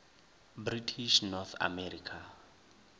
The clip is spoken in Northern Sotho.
british north america